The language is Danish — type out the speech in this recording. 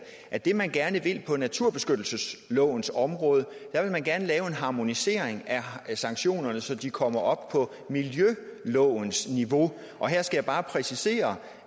at det man gerne vil på naturbeskyttelseslovens område er at man gerne vil lave en harmonisering af sanktionerne så de kommer op på miljølovens niveau og her skal jeg bare præcisere